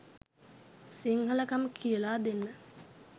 සිංහලකම කියලා දෙන්න